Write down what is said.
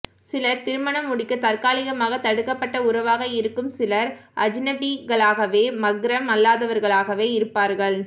சிலர் திருமணம் முடிக்க தற்காலிகமாக தடுக்கப்பட்ட உறவாக இருக்கும் சிலர் அஜ்னபிகளாகவே மஹ்ரம் அல்லாதவர்களாகவே இருப்பார்கள்